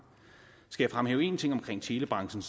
skal jeg fremhæve en ting omkring telebranchen